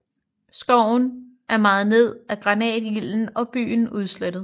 Skoven er mejet ned af granatilden og byen udslettet